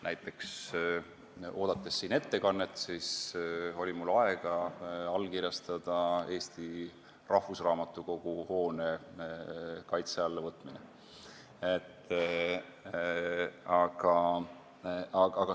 Näiteks, oodates siin ettekannet, oli mul aega allkirjastada Eesti Rahvusraamatukogu hoone kaitse alla võtmine.